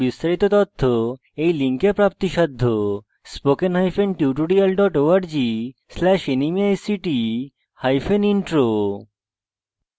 এই বিষয়ে বিস্তারিত তথ্য এই লিঙ্কে প্রাপ্তিসাধ্য spoken hyphen tutorial dot org slash nmeict hyphen intro